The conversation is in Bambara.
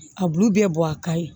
A bulu bɛɛ bɔ a ka ɲi